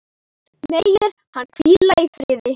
Megir hann hvíla í friði.